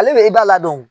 Ale bɛ i b'a ladon